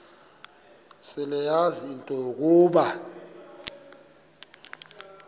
seleyazi into yokuba